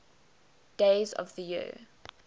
days of the year